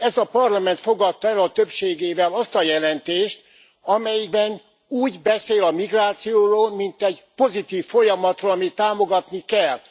Ez a parlament fogadta el a többségével azt a jelentést, amelyben úgy beszél a migrációról, mint egy pozitív folyamatról, amit támogatni kell.